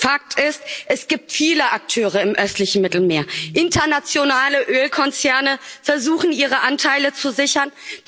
Fakt ist, es gibt viele Akteure im östlichen Mittelmeer Internationale Ölkonzerne versuchen ihre Anteile zu sichern.